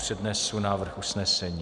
Přednesu návrh usnesení.